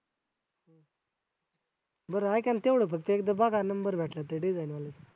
बरं ऐका ना तेवढं फक्त एकदा बघा number भेटला तर त्या design वाल्याचा